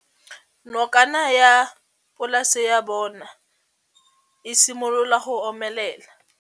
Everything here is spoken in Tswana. Nokana ya polase ya bona, e simolola go omelela.